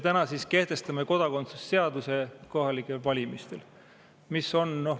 Täna siis kehtestame kodakondsuse seaduse kohalike valimiste jaoks.